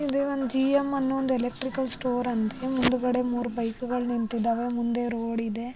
ಇದು ಒಂದು G M ಅನೋ ಒಂದು ಎಲೆಕ್ಟ್ರಿಕಲ್ ಸ್ಟೋರ್ ಅಂತ ಮುಂದ್ಗಡೆ ಮೂರೂ ಬೈಕ್ಗಳು ನಿಂತಿದಾವೆ ಮುಂದೆ ರೋಡ್ ಇದೆ.